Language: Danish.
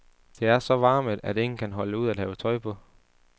Det er så varmet, at ingen kan holde ud at have tøj på.